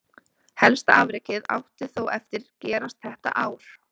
Helsta afrekið átti þó eftir gerast þetta ár.